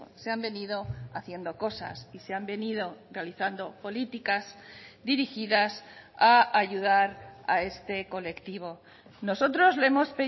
se han venido haciendo cosas y se han venido realizando políticas dirigidas a ayudar a este colectivo nosotros le hemos